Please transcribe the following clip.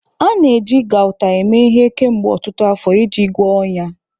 A na-eji Gauta eme ihe kemgbe ọtụtụ afọ iji gwọọ ọnyá.